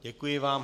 Děkuji vám.